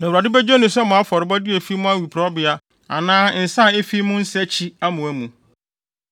Na Awurade begye no sɛ mo afɔrebɔde a efi mo awiporowbea anaa nsa a efi mo nsakyi amoa mu.